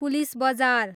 police बजार